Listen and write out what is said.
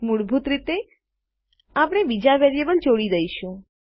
મૂળભૂત રીતે આપણે બીજા વેરીએબલને જોડી દઈશું